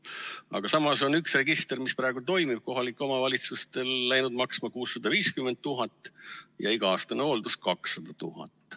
Aga samas on üks register, mis praegu toimib, kohalikel omavalitsustel läinud maksma 650 000 ja iga-aastane hooldus 200 000.